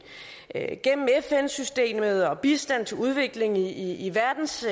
gennem fn systemet og bistand til udvikling i i verdens